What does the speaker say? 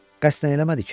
Qəsdən eləmədi ki?